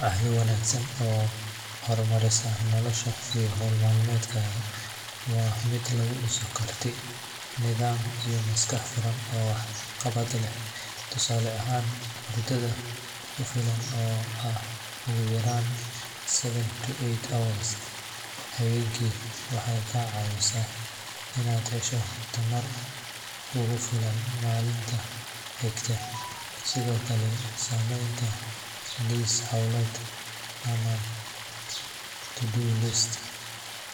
Caado wanaagsan oo hormarisa noloshaada iyo hawl maalmeedkaaga waa mid lagu dhiso karti, nidaam iyo maskax furan oo wax qabad leh. Tusaale ahaan, hurdada ku filan oo ah ugu yaraan seven to eight hours habeenkii waxay kaa caawineysaa inaad hesho tamar kugu filan maalinta xigta. Sidoo kale, samaynta liis hawleed ama to-do list